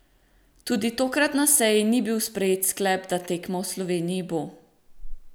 Tudi tokrat na seji ni bil sprejet sklep, da tekma v Sloveniji bo.